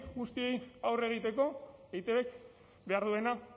guztiei aurre egiteko eitbk behar duena